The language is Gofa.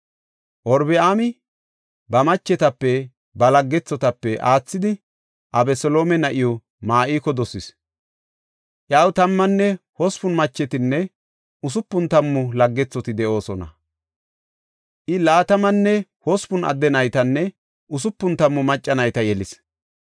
Robi7aami ba machetape ba laggethotape aathidi Abeseloome na7iw Ma7iko dosis. Iyaw tammanne hospun machetinne usupun tammu laggethoti de7oosona. I laatamanne hospun adde naytanne usupun tammu macca nayta yelis.